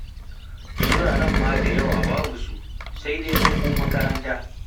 Wuraren ma da yawa babu su, sai dai fa ko makaranta.